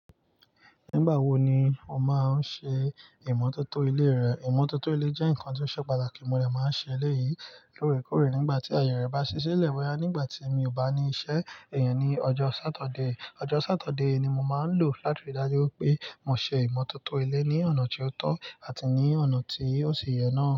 Nígbà wo ni o máa ń ṣe ìmọ́tótó ilé rẹ? Ìmọ́tótó ilé jẹ́ nǹkan tí ó ṣe pàtàkì. Mo de máa ń ṣe lẹ́yìi lóòrèkóòrè nígbà tí àyè rẹ̀ bá ṣiṣi lẹ́ boya nígbà tí mi ò bá ní iṣẹ́ iyen ní ọjọ́ Sátọdé. Ọjọ́ Sátọdé ni mo máa ń lò láti rí i dájú pé mo ṣe ìmọ́tótó ilé ní ọ̀nà tí ó tọ́ àti ní ọ̀nà tí ó ṣi yẹn náà.